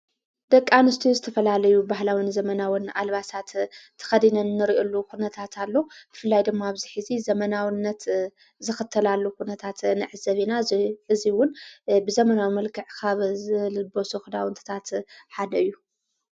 ደቃኣንስቱዩ ዝተፈላለዩ ባሕላውን ዘመናውን ኣልባሳት ተኸዲነን እንርኢሉ ዂነታትሎ ብፍላይ ድማ ኣብዚኂ ዙ ዘመናውነት ዝኽተላሉ ዂነታት ንዕ ዘቤና እዙይውን ብዘመናዊ መልክዕ ኻበ ዝልበ ሶኽዳውንትታት ሓደ እዩ።